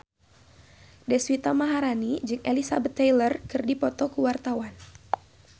Deswita Maharani jeung Elizabeth Taylor keur dipoto ku wartawan